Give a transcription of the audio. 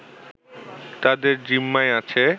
তাদের জিম্মায় আছে